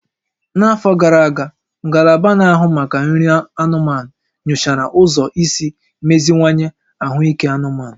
N'afọ gara aga, Ngalaba Na-ahụ Maka Nri anụmanụ nyochara ụzọ isi meziwanye ahụike anụmanụ